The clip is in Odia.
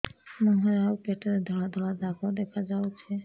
ମୁହଁରେ ଆଉ ପେଟରେ ଧଳା ଧଳା ଦାଗ ଦେଖାଯାଉଛି